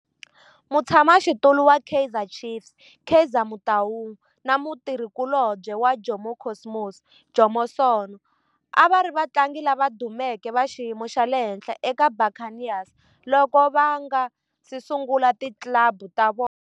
Mutshama xitulu wa Kaizer Chiefs Kaizer Motaung na mutirhi kulobye wa Jomo Cosmos Jomo Sono a va ri vatlangi lava dumeke va xiyimo xa le henhla eka Buccaneers loko va nga si sungula ti club ta vona.